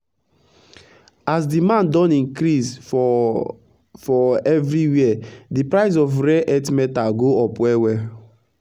as demand don increase for for everi where d price of rare earth metal go up well well